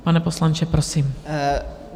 Pane poslanče, prosím.